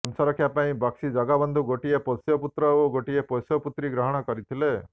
ବଂଶରକ୍ଷା ପାଇଁ ବକ୍ସି ଜଗବନ୍ଧୁ ଗୋଟିଏ ପୋଷ୍ୟ ପୁତ୍ର ଓ ଗୋଟିଏ ପୋଷ୍ୟ ପୁତ୍ରୀ ଗ୍ରହଣ କରିଥିଲେ